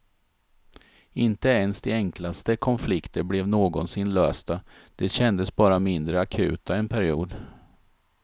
Inte ens de enklaste konflikter blev någonsin lösta, de kändes bara mindre akuta en period.